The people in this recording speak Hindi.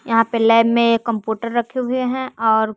यहां पे लैब में ये कंप्यूटर रखे हुए हैं और--